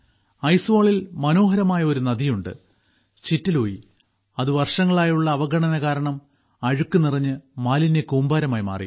ഐസ്വാളിൽ മനോഹരമായ ഒരു നദിയുണ്ട് ചിറ്റെലൂയി അത് വർഷങ്ങളായുള്ള അവഗണന കാരണം അഴുക്ക് നിറഞ്ഞ് മാലിന്യക്കൂമ്പാരമായി മാറി